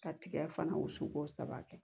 Ka tigɛ fana wusu ko saba kɛ